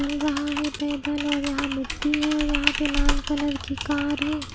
चल रहा है पैदल और यहां मिट्टी है और यहां पे लाल कलर की कार है।